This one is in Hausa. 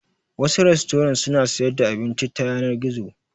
Wasu rastorant suna sayar da abinci ta yanar gizo.